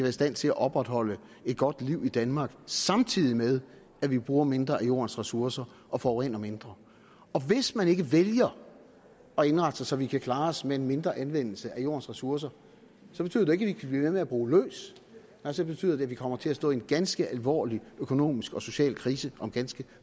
i stand til at opretholde et godt liv i danmark samtidig med at vi bruger mindre af jordens ressourcer og forurener mindre og hvis man ikke vælger at indrette sig så vi kan klare os med en mindre anvendelse af jordens ressourcer så betyder det ikke at vi kan blive ved med at bruge løs nej så betyder det at vi kommer til at stå i en ganske alvorlig økonomisk og social krise om ganske